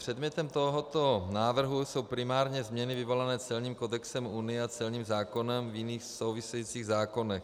Předmětem tohoto návrhu jsou primárně změny vyvolané celním kodexem Unie a celním zákonem v jiných souvisejících zákonech.